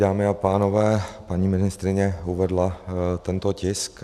Dámy a pánové, paní ministryně uvedla tento tisk.